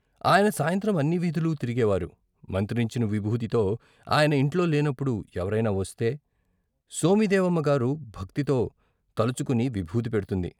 అయన సాయంత్రం అన్ని వీధులూ తిరిగే వారు మంత్రించిన విబూదితో అయన ఇంట్లో లేనప్పుడు ఎవరైనా వస్తే సోమిదేవమ్మగారు భక్తితో తలుచుకుని నిబూది పెడ్తుంది.